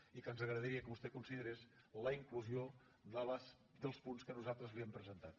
i que ens agradaria que vostè considerés la inclusió dels punts que nosaltres li hem presentat